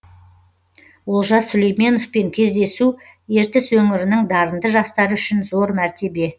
олжас сүлейменовпен кездесу ертіс өңірінің дарынды жастары үшін зор мәртебе